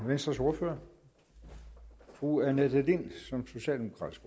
venstres ordfører fru annette lind som socialdemokratisk